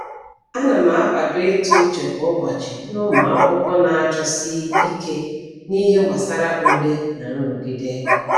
Ana m akwado ịtụ uche kwa ụbọchị nye ụmụakwụkwọ na-achọsi ike n’ihe gbasara ule na nrụgide.